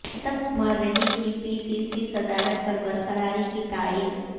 اتم کمار ریڈی کی P C C صدارت پر برقراری کی تائید